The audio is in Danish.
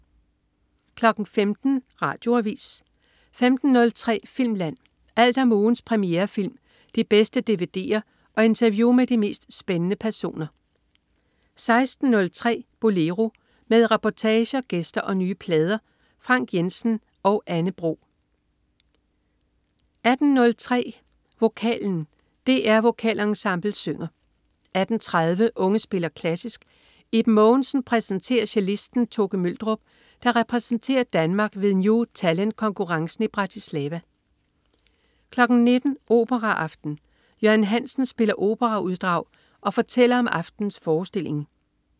15.00 Radioavis 15.03 Filmland. Alt om ugens premierefilm, de bedste dvd'er og interview med de mest spændende personer 16.03 Bolero. Med reportager, gæster og nye plader. Frank Jensen og Anne Bro 18.03 Vokalen. DR Vokalensemblet synger 18.30 Unge spiller klassisk. Iben Mogensen præsenterer cellisten Toke Møldrup, der repræsenterer Danmark ved New Talent konkurrencen i Bratislava 19.00 Operaaften. Jørgen Hansen spiller operauddrag og fortæller om aftenens forestilling